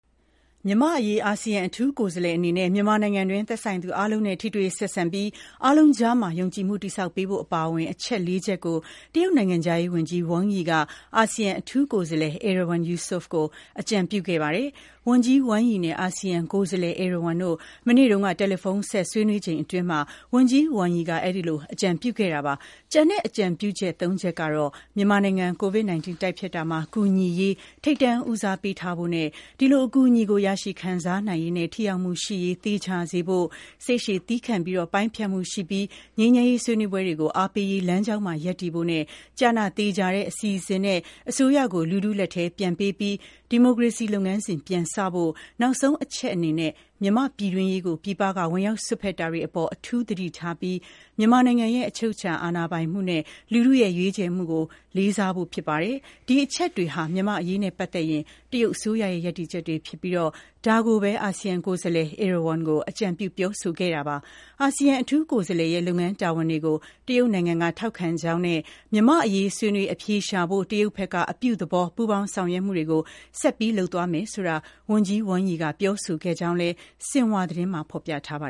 မြန်မာ့အရေး အာဆီယံအထူးကိုယ်စားလှယ်အနေနဲ့ မြန်မာနိုင်ငံတွင်း သက်ဆိုင်သူအားလုံးနဲ့ ထိတွေ့ဆက်ဆံပြီး အားလုံးကြားမှာ ယုံကြည်မှုတည်ဆောက်ပေးဖို့အပါအဝင် အချက်လေးချက်ကို တရုတ်နိုင်ငံခြားရေးဝန်ကြီး Wang Yi က အာဆီယံအထူးကိုယ်စားလှယ် Erywan Yusof ကို အကြံပြုခဲ့ပါတယ်။ Wang Yi နဲ့ Erywan တို့ မနေ့က တယ်လီဖုန်းဆက် ဆွေးနွေးချိန်အတွင်း ဝန်ကြီး Wang Yi က အဲဒီလို အကြံပြုခဲ့တာပါ။ ကျန်တဲ့အကြံပြုချက် သုံးချက်ကတော့ မြန်မာနိုင်ငံ COVID-19 တိုက်ဖျက်တာမှာ ကူညီရေး ထိပ်တန်းဦးစားပေးထားဖို့နဲ့ အဲဒီလိုအကူအညီကို ရရှိခံစားနိုင်ရေးနဲ့ ထိရောက်မှုရှိရေး သေချာစေဖို့၊ စိတ်ရှည် သည်းခံပြီး ပိုင်းဖြတ်မှုရှိပြီးတော့ ငြိမ်းချမ်းရေးဆွေးနွေးပွဲတွေကို အားပေးရေး လမ်းကြောင်းမှာ ရပ်တည်ဖို့နဲ့ ကျနသေချာတဲ့အစီအစဉ်နဲ့ အစိုးရကို လူထုလက်ထဲပြန်ပေးပြီး ဒီမိုကရေစီလုပ်ငန်းစဉ် ပြန်စတင်ဖို့၊ နောက်ဆုံးအချက်အနေနဲ့ မြန်မာ့ပြည်တွင်းရေးကို ပြည်ပက ဝင်ရောက်စွက်ဖက်တာတွေအပေါ် အထူးသတိထားပြီး မြန်မာနိုင်ငံရဲ့ အချုပ်အခြာအာဏာပိုင်မှုနဲ့ လူထုရဲ့ရွေးချယ်မှုတို့ကို လေးစားဖို့တို့ဖြစ်ပါတယ်။ ဒီအချက်တွေဟာ မြန်မာ့အရေးနဲ့ပတ်သက်ရင် တရုတ်အစိုးရရဲ့ ရပ်တည်ချက်တွေဖြစ်ပြီး ဒါတွေကိုပဲ Erywan ကို အကြံပြုပြောဆိုခဲ့တာပါ။ အာဆီယံ အထူးကိုယ်စားလှယ်ရဲ့ လုပ်ငန်းတာဝန်တွေကို တရုတ်နိုင်ငံက ထောက်ခံကြောင်းနဲ့ မြန်မာ့အရေး ဆွေးနွေး အဖြေရှာနိုင်ဖို့ တရုတ်ဘက်က အပြုသဘော ပူးပေါင်း ဆောင်ရွက်မှုတွေ ဆက်ပြီးလုပ်သွားမယ်ဆိုတာကို ဝန်ကြီးဝမ်ရီကပြောဆိုခဲ့ကြောင်းလည်း ဆင်ဟွာသတင်းမှာ ဖော်ပြထားပါ